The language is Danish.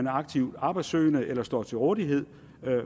aktivt arbejdssøgende eller står til rådighed